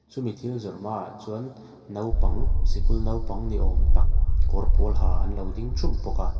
chu mi thil zawrh hmaah chuan naupang sikul naupang ni awm tak kawr pawl ha an lo ding thup bawk a.